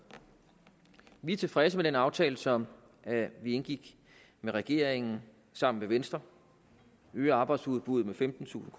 vi er tilfredse med den aftale som vi indgik med regeringen sammen med venstre vi øger arbejdsudbuddet med femtentusind